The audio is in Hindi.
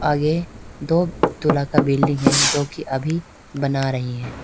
आगे दो तोला का बिल्डिंग है जो की अभी बना रही है।